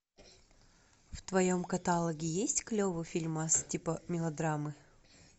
в твоем каталоге есть клевый фильмас типа мелодрамы